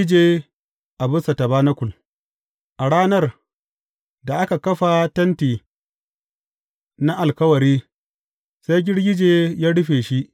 Girgije a bisa tabanakul A ranar da aka kafa Tenti na Alkawari, sai girgije ya rufe shi.